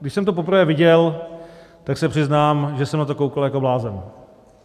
Když jsem to poprvé viděl, tak se přiznám, že jsem na to koukal jako blázen.